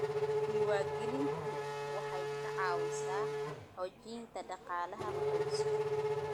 Diiwaangelintu waxay ka caawisaa xoojinta dhaqaalaha qoyska.